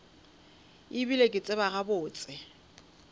e bile ke tseba gabotse